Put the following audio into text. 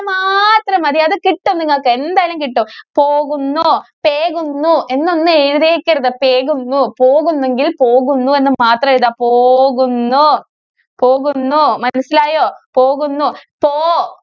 മാത്രം മതി. അത് കിട്ടും നിങ്ങൾക്ക് എന്തായാലും കിട്ടും. പോകുന്നു പേകുന്നു എന്നൊന്നും എഴുതിയേക്കരുത്. പേകുന്നു പോകുന്നെങ്കില്‍ പോകുന്നു എന്ന് മാത്രം എഴുതുക. പോകുന്നു, പോകുന്നു മനസ്സിലായോ പോകുന്നു പോ